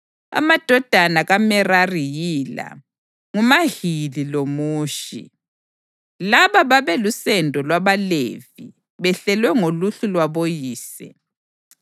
Amadodana kaMerari yila: nguMahili loMushi. Laba babelusendo lwabaLevi behlelwe ngoluhlu lwaboyise: